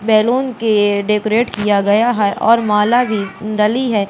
Balloon के decorate किया गया है और माला भी डली है।